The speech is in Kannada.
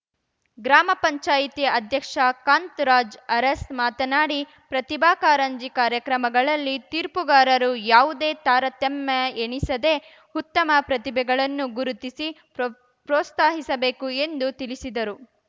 ಗ್ರಾಮ ಪಂಚಾಯ್ತಿ ಅಧ್ಯಕ್ಷ ಕಾಂತ್‌ರಾಜ್‌ ಅರಸ್‌ ಮಾತನಾಡಿ ಪ್ರತಿಭಾ ಕಾರಂಜಿ ಕಾರ್ಯಕ್ರಮಗಳಲ್ಲಿ ತೀರ್ಪುಗಾರರು ಯಾವುದೇ ತಾರತಮ್ಯ ಎಣಿಸದೇ ಉತ್ತಮ ಪ್ರತಿಭೆಗಳನ್ನು ಗುರುತಿಸಿ ಪ್ರೋಪ್ರೋತ್ಸಾಹಿಸಬೇಕು ಎಂದು ತಿಳಿಸಿದರು